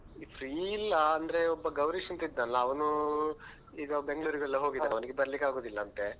Free ಇಲ್ಲಾ ಅಂದ್ರೆ ಒಬ್ಬ ಗೌರೀಶ್ ಅಂತ ಇದ್ನಲ್ಲಾ ಅವ್ನು ಈಗ Bangalore ಗೆಲ್ಲಾ ಹೋಗಿದ್ದಾನೆ ಅವ್ನಿಗೆ ಬರ್ಲಿಕ್ಕೆ ಆಗುದಿಲ್ಲಂತೆ.